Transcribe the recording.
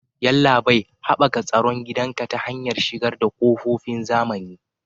Yallabai, Haɓaka tsaron gidanka ta hanyar shigar da ƙofofin zamani.